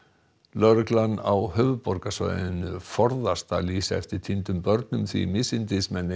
lögreglan á höfuðborgarsvæðinu forðast að lýsa eftir týndum börnum því misindismenn